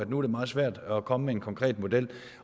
nu er meget svært at komme med en konkret model